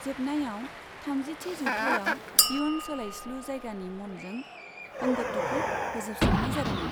जोबनायाव थामजिथि जौथाइयाव इयुन सोलायस्लु जायगानि मन'जों अंगटूखौ फोजोबस्रांनाय जादोंमोन।